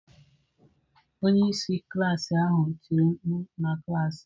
Onye isi klaasị ahụ tiri mkpu! Na klas.